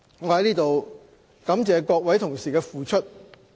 我在此感謝各位同事的付出。